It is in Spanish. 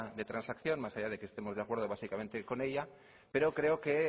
de transacción más allá de que estemos de acuerdo con ella pero creo que